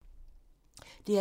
DR1